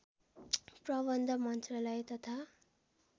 प्रबन्ध मन्त्रालय तथा